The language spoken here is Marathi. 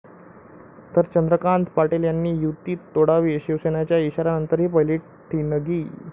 ...तर चंद्रकांत पाटील यांनी युती तोडावी', शिवसेनेच्या इशाऱ्यानंतर पहिली ठिणगी